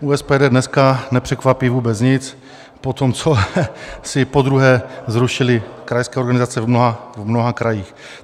U SPD dneska nepřekvapí vůbec nic po tom, co si podruhé zrušili krajské organizace v mnoha krajích.